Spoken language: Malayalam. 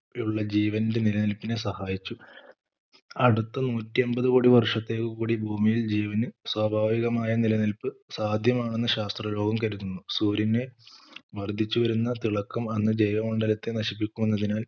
ഉള്ള ജീവന്റെ നില നിലപ്പിനെ സഹായിച്ചു അടുത്ത നൂറ്റി അൻപത് കോടി വർഷത്തേക്ക് കൂടി ഭൂമിയിൽ ജീവന് സ്വാഭാവികമായ നിലനിൽപ്പ് സാധ്യമാണെന്ന് ശാസ്ത്ര ലോകം കരുതുന്നു സൂര്യന് വർധിച്ചു വരുന്ന തിളക്കം അന്ന് ജൈവ മണ്ഡലത്തെ നശിപ്പിക്കുമെന്നതിനാൽ